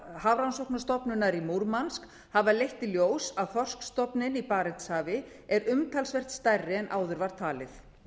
hafrannsóknastofnunar í murmansk hafa leitt í ljós að þorskstofninn í barentshafi er umtalsvert stærri en áður var talið